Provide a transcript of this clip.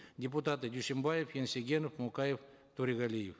депутаты дюйсенбаев енсегенов мукаев торегалиев